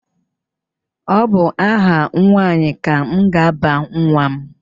Ọ bụ aha nwaanyị ka m ga-aba nwa m.